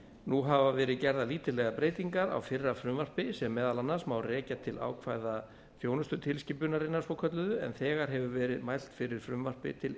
nú hafa verið gerðar lítillegar breytingar á fyrra frumvarpi sem meðal annars má rekja til ákvæða þjónustutilskipunarinnar svokölluðu en þegar hefur verið mælt fyrir frumvarpi til